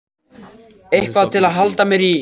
Eitthvað til að halda mér í.